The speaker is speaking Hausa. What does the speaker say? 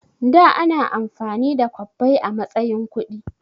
Da ana amfani da kwabbai a matsayin kuɗi